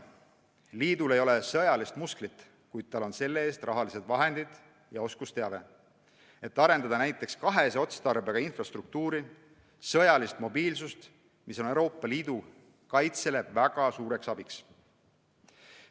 Liidul ei ole sõjalist musklit, kuid tal on selle-eest rahalised vahendid ja oskusteave, et arendada näiteks kahese otstarbega infrastruktuuri, sõjalist mobiilsust, mis on Euroopa Liidu kaitses väga suureks abiks.